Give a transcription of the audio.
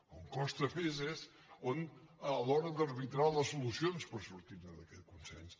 on costa més és a l’hora d’arbitrar les solucions per sortir ne d’aquest consens